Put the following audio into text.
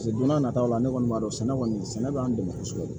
don n'a nataw la ne kɔni b'a dɔn sɛnɛ kɔni sɛnɛ bɛ an dɛmɛ kosɛbɛ